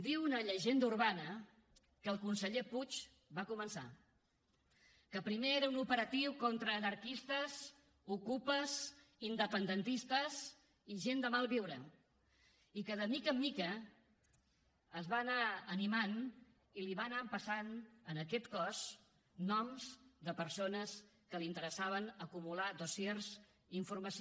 diu una llegenda urbana que el conseller puig va començar que primer era un operatiu contra anarquistes ocupes independentistes i gent de malviure i que de mica en mica es va anar animant i li va anar passant a aquest cos noms de persones de qui li interessava acumular dossiers i informació